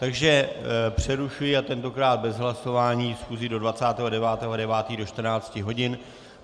Takže přerušuji, a tentokrát bez hlasování, schůzi do 29. 9. do 14 hodin.